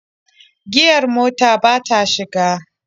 Giyar motar ba ta shiga.